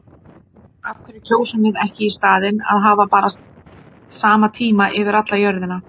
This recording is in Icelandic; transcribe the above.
Af hverju kjósum við ekki í staðinn að hafa bara sama tíma yfir alla jörðina?